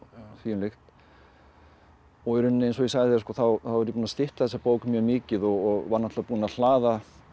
þvíumlíkt og í rauninni eins og ég sagði þér þá er ég búinn að stytta þessa bók mjög mikið og var náttúrulega búinn að hlaða